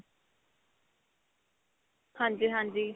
ਹਾਂਜੀ ਹਾਂਜੀ.